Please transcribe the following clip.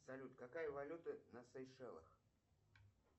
салют какая валюта на сейшелах